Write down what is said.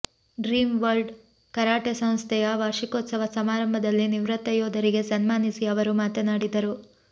dream World karate ಸಂಸ್ಥೆಯ ವಾರ್ಷಿಕೋತ್ಸವ ಸಮಾರಂಭದಲ್ಲಿ ನಿವೃತ್ತ ಯೋಧರಿಗೆ ಸನ್ಮಾನಿಸಿ ಅವರು ಮಾತನಾಡಿದರು